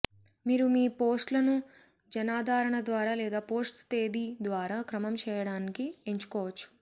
మీరు మీ పోస్ట్లను జనాదరణ ద్వారా లేదా పోస్ట్ తేదీ ద్వారా క్రమం చేయడానికి ఎంచుకోవచ్చు